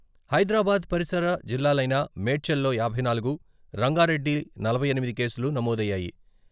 హైదరాబాద్ పరిసర జిల్లాలైన మేడ్చల్ లోయాభై నాలుగు, రంగారెడ్డిలో నలభై ఎనిమిది కేసులు నమోదయ్యాయి.